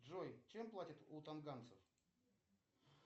джой чем платят у танганцев